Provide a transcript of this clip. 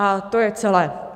A to je celé.